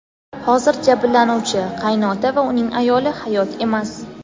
Hozir jabrlanuvchi – qaynota va uning ayoli hayot emas.